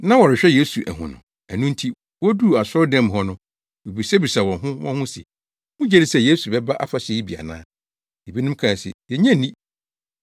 Na wɔrehwehwɛ Yesu ahu no. Ɛno nti woduu asɔredan mu hɔ no, wobisabisaa wɔn ho wɔn ho se, “Mugye di sɛ Yesu bɛba afahyɛ yi bi ana?” Ebinom kae se, “Yennye nni.”